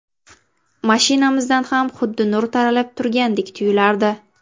Mashinamizdan ham xuddi nur taralib turgandek tuyulardi.